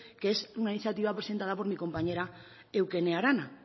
que es una iniciativa presentada por mi compañera eukene arana